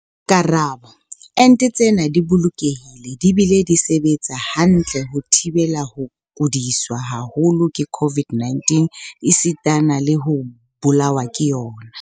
Karabo- Ente tsena di bolokehile di bile di sebetsa hantle ho thibela ho kudiswa haholo ke COVID-19 esitana le ho bolawa ke yona.